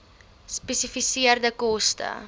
gespesifiseerde koste